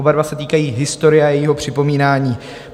Oba dva se týkají historie a jejího připomínání.